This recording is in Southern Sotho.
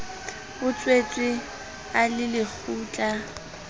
o tswetswe a le lekgutla